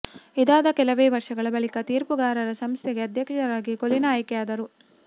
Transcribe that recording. ಇದಾದ ಕೆಲವೇ ವರ್ಷಗಳ ಬಳಿಕ ತೀರ್ಪುಗಾರರ ಸಂಸ್ಥೆಗೆ ಅಧ್ಯಕ್ಷರಾಗಿ ಕೊಲಿನಾ ಆಯ್ಕೆಯಾದರು